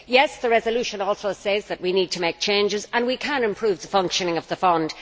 Yes, the resolution also says that we need to make changes and we can improve the functioning of the fund.